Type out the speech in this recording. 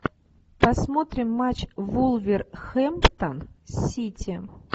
посмотрим матч вулверхэмптон сити